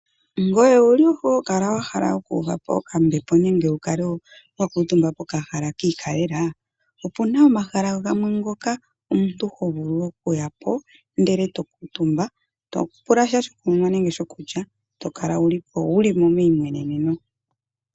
Ngoye owuli hokala wahala oku uva ombepo nenge Wu kale wa kuutumba pokahala kiikalela? Opuna omahala gamwe ngoka omuntu hovulu oku ya po ndele eto kuutumba topula sha shokunwa nenge shokulya ndele tokala uli po uli meimweneneno.